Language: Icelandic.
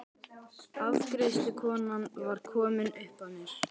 Afgreiðslukonan var komin upp að mér.